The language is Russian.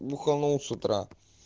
анонс утра